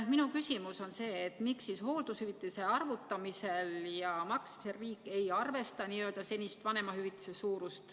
Minu küsimus on, miks hooldushüvitise arvutamisel ja maksmisel riik ei arvesta senist vanemahüvitise suurust.